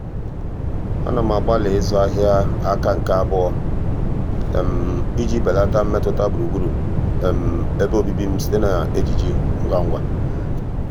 à nà m àgbàlị́ ị́zụ́ áhị́à áká nke àbụọ́ iji bèlàtá mmètụ́ta gburugburu ebe obibi m site na ejiji ngwa ngwa.